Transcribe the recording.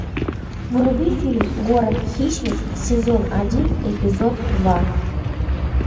вруби фильм город хищниц сезон один эпизод два